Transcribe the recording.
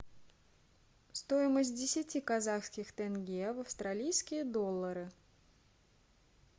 стоимость десяти казахских тенге в австралийские доллары